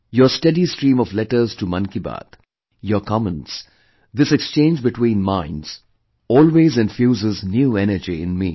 Your steady stream of letters to 'Mann Ki Baat', your comments, this exchange between minds always infuses new energy in me